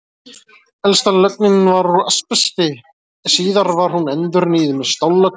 Elsta lögnin var úr asbesti, en síðar var hún endurnýjuð með stállögn.